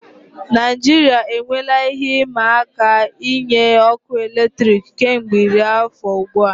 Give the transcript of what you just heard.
Naijiria enweela ihe ịma aka inye ọkụ eletrik kemgbe iri afọ ugbu a.